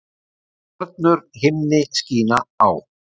Stjörnur himni skína á.